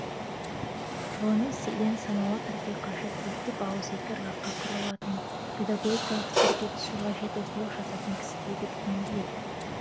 ғылыми стильден саналы түрде қашып ептеп ауызекі ырғаққа құрылатын педагогикалық стильге түсу қажет оқулық жазатын кісіге деп түйіндейді